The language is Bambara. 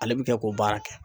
Ale bi kɛ k'o baara kɛ.